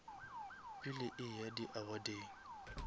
pele a eya di awardeng